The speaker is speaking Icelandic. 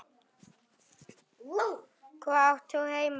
Hvar átt þú heima?